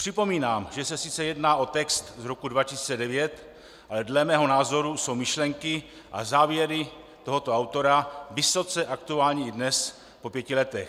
Připomínám, že se sice jedná o text z roku 2009, ale dle mého názoru jsou myšlenky a závěry tohoto autora vysoce aktuální i dnes, po pěti letech.